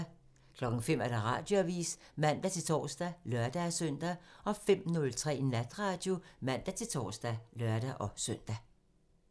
05:00: Radioavisen (man-tor og lør-søn) 05:03: Natradio (man-tor og lør-søn)